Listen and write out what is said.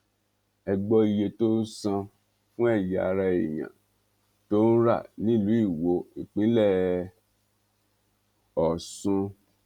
ẹ gbọ iye tó ń san fún ẹyà ara èèyàn tó ń rà nílùú iwọ ìpínlẹ ọ̀sun